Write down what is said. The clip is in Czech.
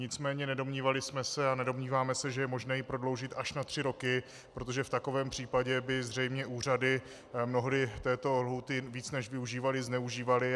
Nicméně nedomnívali jsme se a nedomníváme se, že je možné ji prodloužit až na tři roky, protože v takovém případě by zřejmě úřady mnohdy této lhůty víc než využívaly zneužívaly.